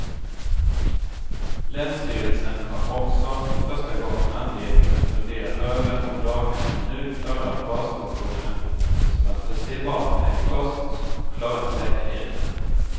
Länsstyrelsen har också för första gången anledning att fundera över om daghemmen nu klarar basfunktioner som att förse barnen med kost och klara säkerheten.